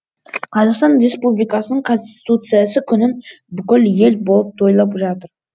қазақстан республикасының конституциясы күнін бүкіл ел болып тойлап жатыр